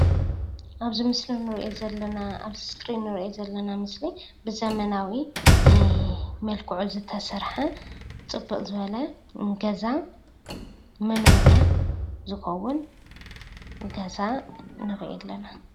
ኣብዚ ምስሊ እንሪኦ ዘለና ኣብዚ እስክሪን እንሪኦ ምስሊዘለና ዘበናዊመልኩዑ ዝተሰረሐ ፅብቅ ዝበለ ገዛ ሞኖርያ ዝኮውን ገዛ ንሪኢ ኣለና፡፡